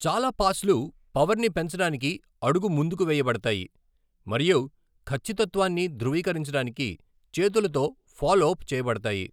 చాలా పాస్లు పవర్ని పెంచడానికి అడుగు ముందుకు వేయబడతాయి మరియు కచ్చితత్త్వాన్ని ధృవీకరించడానికి చేతులతో ఫాలోప్ చేయబడతాయి.